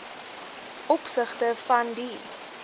opsigte van die